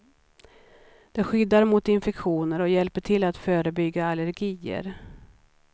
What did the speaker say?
Det skyddar mot infektioner och hjälper till att förebygga allergier.